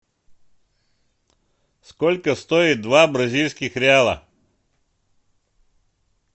сколько стоит два бразильских реала